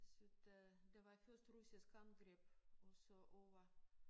Syd øh der var først russisk angreb og så over